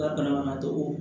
La banabagatɔ